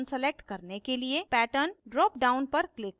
pattern dropdown पर click करें